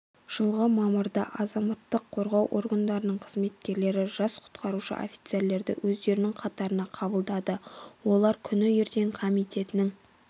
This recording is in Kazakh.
жылғы мамырда азаматтық қорғау органдарының қызметкерлері жас құтқарушы офицерлерді өздерінің қатарына қабылдады олар күні ертең комитетінің